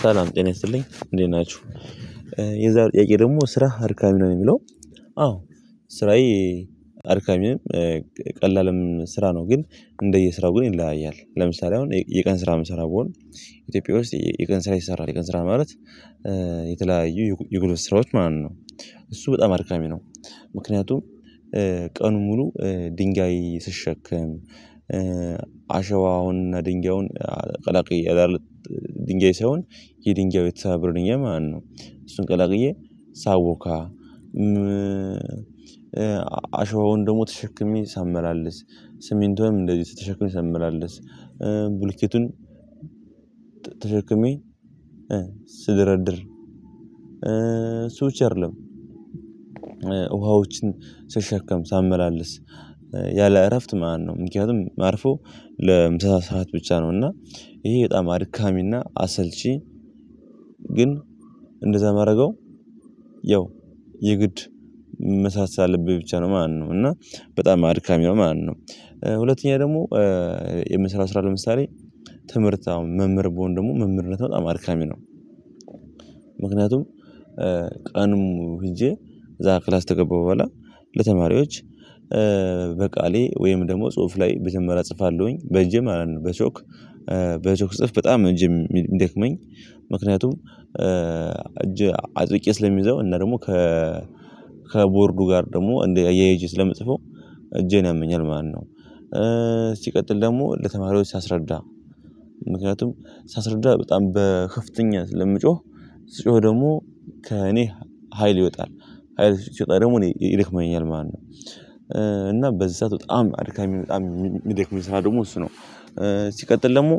ሰላም ጤና ይስጥልኝ እንዴት ናችሁ። የዛሬ ጥያቄ ደግሞ ስራ አድካሚ ነው የሚለው? አዎ ስራዬ አድካሚም ቀላልም ስራ ነው። ግን እንደየስራው ግን ይለያያል ለምሳሌ አሁን የቀን ስራ የምሰራው ቢሆን። ኢትዮጵያ ውስጥ የቀን ስራ ይሰራል የቀን ስራ ማለት የተለያዩ የጉልበት ስራዎች ማለት ነው። እሱ በጣም አድካሚ ነው። ምክንያቱም ቀኑን ሙሉ ድንጋይ ስሸከም አሸዋውን ድንጋዩን ቀላቅዪ ድንጋይ ሳይሆን የድንጋይ የተሳበርን ድንጋይ ማለት ነው። እሱን ቀላቅዬ ሳቦካ አሸዋውን ደግሞ ተሸክሜ ሳመላልስ ስሜንቱም እንደዚህ ስትሸክም ሳመላልስ ቡልኬቱን ተሸክሜ ስደራደር። እሱ ብቻ አደለም። ውሃዎችን ስሸከም ሳመላልስ ያለ እረፍት ማለት ነው። ምክንያቱም ማርፈው ለምሳ ሰዓት ብቻ ነው እና ይሄ በጣም አድካሚና አሰልቺ። ግን እንደዛ የማደርገው ያው የግድ የምመሳሰልብኝ ነው። ማነው እና በጣም አድካሚ ነው ማለት ነው። ሁለተኛ ደግሞ የምስራ ስራ ለምሳሌ ትምህርት አሁን መምህር በሆነ ደግሞ መምህርነት በጣም አድካሚ ነው። ምክንያቱም ቀኑም ሄጄ ዛ ክላስ ተገባ በኋላ ለተማሪዎች በቃሌ ወይም ደግሞ ጽሁፍ ላይ መጀመሪያ እጽፋለሁኝ በእጅም በቾክ በቾክ ጽፍ በጣም እጅም የሚደክመኝ። ምክንያቱም እጅ አጥብቄ ስለሚይዘው እና ደግሞ ከ ከቦርዱ ጋር ደግሞ እንደ እያየሁኝ ስለምጽፈው እጄን ያመኛል ማለት ነው። ሲቀጥል ደግሞ ለተማሪዎች ሳስረዳ ምክንያቱም ሳስረዳ በጣም በክፍተኛ ስለምጮህ ስጮህ ደግሞ ከእኔ ሀይል ይወጣል ሀይል ስትወጣ ደግሞ እኔ ይደክመኛል ማለት ነው። እና በዛ በጣም አድካሚ በጣም የሚደክመኝ ስራ ደግሞ እሱ ነው። ሲቀጥል ደግሞ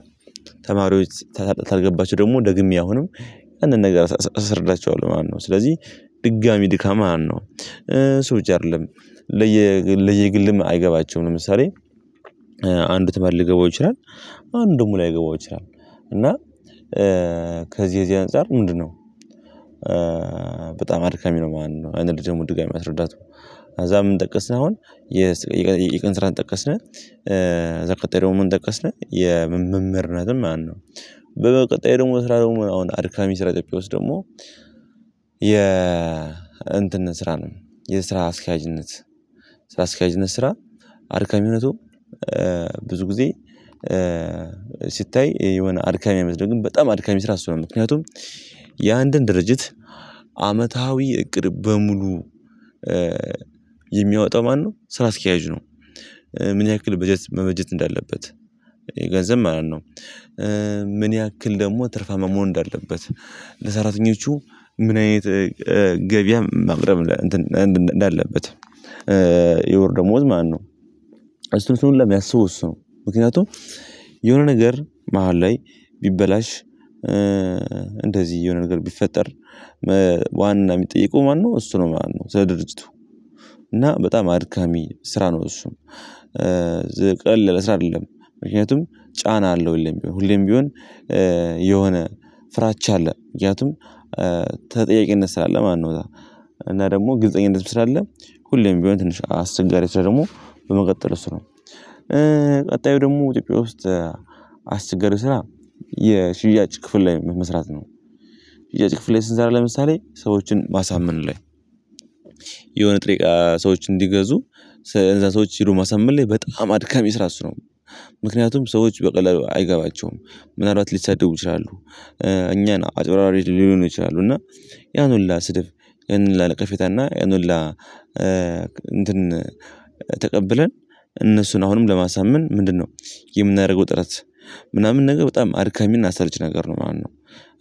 ተማሪዎች ተሰጣጥ አልገባቸው ደግሞ ደግሜ አሁንም አንድ ነገር እሰርዳቸዋለሁ። ማነው ስለዚህ ድጋሚ ድካም አለው እሱ ብቻ አይደለም። ለየግልም አይገባቸውም ለምሳሌ አንዱ ተባል ልገባው ይችላል። አንዱም ላይገባው ይችላል። እና ከዚህ ከዚህ አንፃር ምንድነው? በጣም አድካሚ ነው። ማን ነው አንድ ልጅ ውድቅ አይመስለውም። አዛ ምን ጠቀስን አሁን የቀን ስራ ጠቀስን። አዛ ቀጣይ ደግሞ ምን ጠቀስን የመምህርነትም ማነው? በ ቀጣይ ደግሞ ስራ ደግሞ አሁን አድሚ ስራ ጥቂት ውስጥ ደግሞ የ እንትንን ስራ ነው። የስራ አስኪያጅነት ስራ አስኪያጅነት ስራ አድካሚነቱ ብዙ ጊዜ ስታይ የሆነ አድካሚ አመት ግን በጣም አድካሚ ስራ አስሮ ነው። ምክንያቱም የአንድን ድርጅት አመታዊ እቅድ በሙሉ የሚያወጣው ማነው ስራ አስኪያጅ ነው። ምን ያክል በጀት መበጀት እንዳለበት የገንዘብ ማለት ነው። ምን ያክል ደግሞ ትርፋ መሆን እንዳለበት ለሰራተኞቹ ምን አይነት ገበያ ማቅረብ እንዳለበት። የወር ደሞዝ ማለት ነው። እሱን ስንል የሚያስበው እሱ ነው። ምክንያቱም የሆነ ነገር መሃል ላይ ቢበላሽ እንደዚህ የሆነ ነገር ቢፈጠር ዋና የሚጠይቀው ማነው እሱ ነው ማለት ነው። ድርጅቱ እና በጣም አድካሚ ስራ ነው። እሱም ለስራ አይደለም ምክንያቱም ጫና አለው ሁሌም ቢሆን ሁሌም ቢሆን። የሆነ ፍራቻ አለ ምክንያቱም ተጠያቂነት ስላለ ማን ነው? እና ደግሞ ግልፀኝነት ስላለ ሁሌም ቢሆን ትንሽ አስቸጋሪ ስራ ደግሞ በመቀጠል እሱ ነው። ቀጣዩ ደግሞ ኢትዮጵያ ውስጥ አስቸጋሪ ስራ የሽያጭ ክፍል ላይ መስራት ነው። የሽያጭ ክፍል ላይ ስንሰራ ለምሳሌ ሰዎችን ማሳመን ላይ የሆነ ጥሬ እቃ ሰዎች እንዲገዙ ለሰዎች ሄዶ ማሳመን ላይ በጣም አድጋሚ ስራ እሱ ነው። ምክንያቱም ሰዎች በቀለል አይገባቸውም ምናልባት ሊሰደቡ ይችላሉ። እኛን አጭበርባሪ ሊሉን ይችላል። እና ያን ሁላ ስድብ ያን ሁላ ነቀፌታ እና ያን ሁላ እንትን ተቀብለን እነሱን አሁንም ለማሳመን ምንድነው? የምናደርገው ጥረት ምናምን ነገር በጣም አድከሚና አሰልች ነገር ነው ማነው።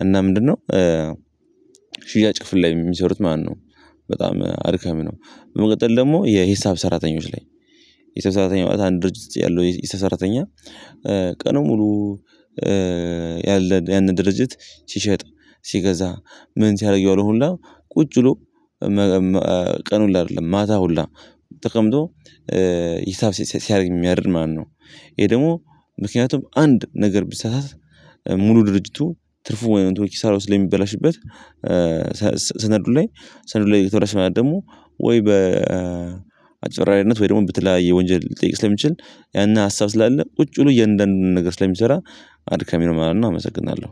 እና ምንድነው? ሽያጭ ክፍል ላይ የሚሰሩት ማነው በጣም አድከም ነው። በመቀጠል ደግሞ የሂሳብ ሰራተኞች ላይ። የሂሳብ ሰራተኞች አንድ ድርጅት ያለው የሰራተኛ ቀኑን ሙሉ ያለ ያንን ድርጅት ሲሸጥ ሲገዛ ምን ሲያደርግ ያለው ሁሉ ቁጭ ብሎ ቀኑን አይደለም ማታ ሁሉ ተቀምጦ ሂሳብ ሲያደርግ የሚያድር ማነው? ይሄ ደግሞ ምክንያቱም አንድ ነገር ቢሳሳት ሙሉ ድርጅቱ ትርፉ ወይም ኪሳራው ስለሚበላሽበት። ሰነዱ ላይ ሰነዱ ላይ ደግሞ ወይ በአጭበርባሪነት ወይ ደግሞ በተለያይ ወንጀል ሊጠይቅ ስለሚችል። ያን ሀሳብ ስላለ ቁጭ ብሎ እያንዳንዱን ነገር ስለሚሰራ አድካሚ ነው ማለት ነው። አመሰግናለሁ።